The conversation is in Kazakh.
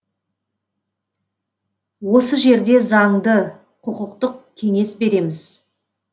осы жерде заңды құқықтық кеңес береміз